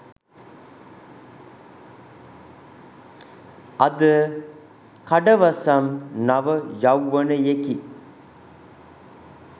අද කඩවසම් නව යෞවනයෙකි